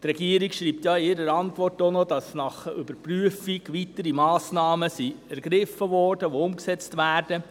Die Regierung schreibt in ihrer Antwort, dass nach der Überprüfung weitere Massnahmen ergriffen wurden, welche umgesetzt werden.